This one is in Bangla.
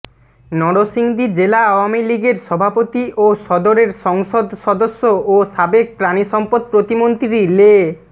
নরসিংদী জেলা আওয়ামীলীগের সভাপতি ও সদরের সংসদ সদস্য ও সাবেক পানিসম্পদ প্রতিমন্ত্রী লে